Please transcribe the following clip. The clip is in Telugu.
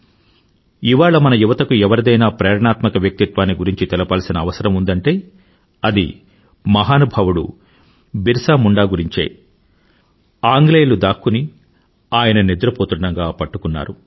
ఇవాళ మాన్ యువతకు ఎవరిదైనా ప్రేరణాత్మక వ్యక్తిత్వాన్ని గురించి తెలపాల్సిన అవసరం ఉందంటే అది మహానుభావుడు బిర్సా ముండా గురించే ఆంగ్లేయులు దాక్కుని ఆయన నిద్రపోతుండగా ఆయనను పట్టుకున్నారు